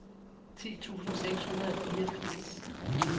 ti tusind seks hundrede og fireogfirs